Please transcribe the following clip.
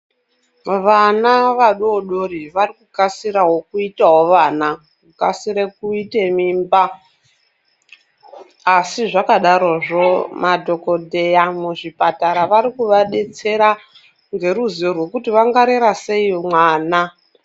Vana vadodori varikukasirawo kuita vana kukasire kuite mimba asi zvakadarozvo madhokodheya muzvipatara varikuvabetsera ngeruzivo kuti vangarera sei mwana .